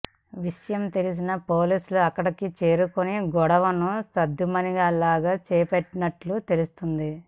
విషయం తెలిసిన పోలీసులు అక్కడికి చేరుకుని గొడవను సద్దుమణిగేలా చేసినట్టు తెలుస్తోంది